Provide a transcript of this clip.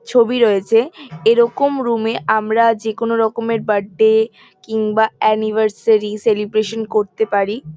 ছবি রয়েছে এরকম রুম -এ আমরা যেকোন রকমের বার্থডে কিংবা অ্যানিভার্সারি সেলিব্রেশন করতে পারি।